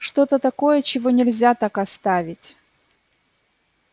что-то такое чего нельзя так оставить